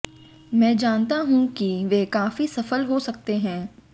मैं जानता हूं कि वे काफी सफल हो सकते हैं